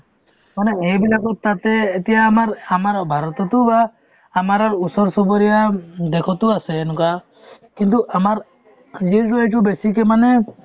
মানে এইবিলাকত তাতে এতিয়া আমাৰ আমাৰ ভাৰততো বা আমাৰ আৰ্ ওচৰ-চুবুৰীয়া উম দেশতো আছে এনেকুৱা কিন্তু আমাৰ বেছিকে মানে